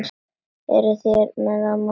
Eruð þér með eða móti?